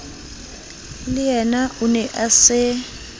leyena o ne a se